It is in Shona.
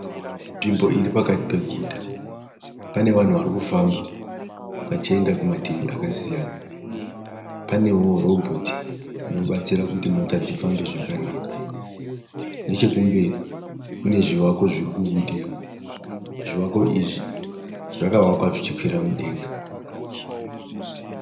Nzvimbo iri pakati peguta. Pane vanhu vari kufamba vachienda kumativi akasiyana. Panewo robhoti rinobatsira kuti mota dzifambe zvakanaka. Nechekumberi kune zvivako zviri kubudira, zvivako izvi zvakavakwa zvichikwira mudenga.